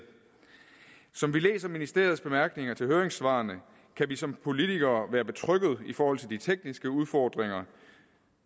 som vi læser ministeriets bemærkninger til høringssvarene kan vi som politikere være betrygget i forhold til de tekniske udfordringer